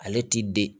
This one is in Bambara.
Ale ti den